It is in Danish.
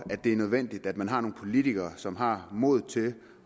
nødvendigt at man har nogle politikere som har modet til